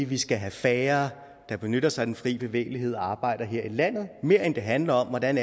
vi skal have færre der benytter sig af den fri bevægelighed og arbejder her i landet end det handler om hvordan